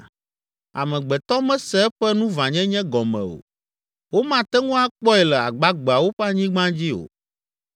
Amegbetɔ mese eƒe nuvãnyenye gɔme o, womate ŋu akpɔe le agbagbeawo ƒe anyigba dzi o.